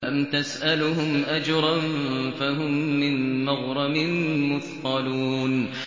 أَمْ تَسْأَلُهُمْ أَجْرًا فَهُم مِّن مَّغْرَمٍ مُّثْقَلُونَ